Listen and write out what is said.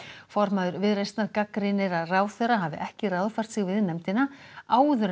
formaður Viðreisnar gagnrýnir að ráðherra hafi ekki ráðfært sig við nefndina áður en